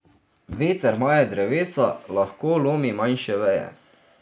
Veter maje drevesa, lahko lomi manjše veje.